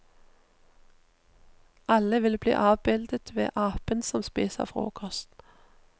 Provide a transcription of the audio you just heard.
Alle vil bli avbildet ved apen som spiser frokost.